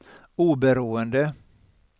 oberoende